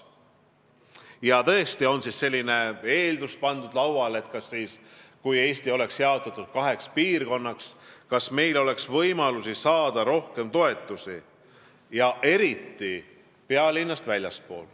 Ja tõesti on pandud lauale selline eeldus, et kas siis, kui Eesti oleks jaotatud kaheks piirkonnaks, oleks meil võimalik saada rohkem toetusi, eriti pealinnast väljaspool.